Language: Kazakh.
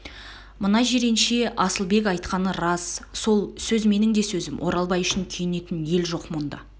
мына жиренше асылбек айтқаны рас сол сөз менің де сөзім оралбай үшін күйетін ел жоқ мұнда